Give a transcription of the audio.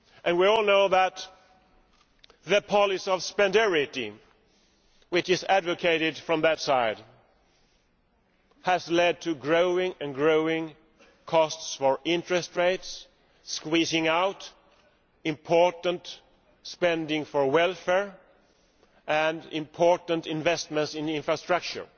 We all know that the policy of ʻspendarityʼ which is advocated from that side has led to ever growing costs for interest rates, squeezing out important spending on welfare and important investments in infrastructure.